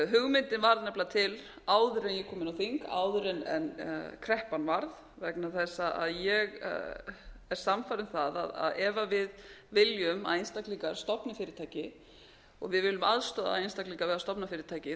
hugmyndin varð nefnilega til áður en ég kom inn á þing áður en kreppan varð vegna þess að ég er sannfærð um það að ef við viljum að einstaklingar stofni fyrirtæki og við viljum aðstoða einstaklinga við að stofna fyrirtæki